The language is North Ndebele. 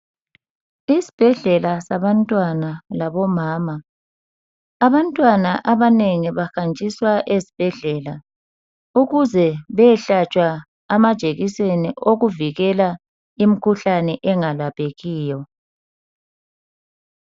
Isbhedlela sabantwana labomama, abantwana abanengi bahanjiswa ezibhedlela ukuze beyehlatshwa amajekiseni okuvikela imikhuhlane engalaphekiyo.